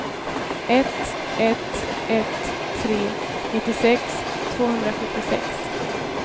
ett ett ett tre nittiosex tvåhundrasjuttiosex